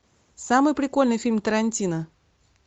самый прикольный фильм тарантино